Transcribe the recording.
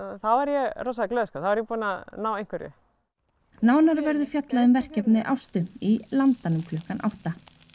þá er ég rosa glöð þá er ég búin að ná einhverju nánar verður fjallað um verkefni Ástu í Landanum klukkan átta